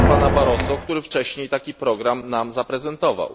do pana Barroso, który wcześniej taki program nam zaprezentował.